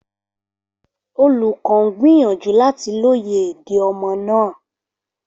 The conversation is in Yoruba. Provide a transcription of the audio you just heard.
Olùkọ́ ń gbìyànjú láti lóye èdè ọmọ náà